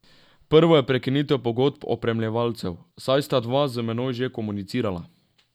Prvo je prekinitev pogodb opremljevalcev, saj sta dva z menoj že komunicirala.